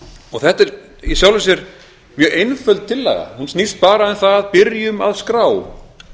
og þetta er í sjálfu sér mjög einföld tillaga hún snýst bara um það byrjum að skrá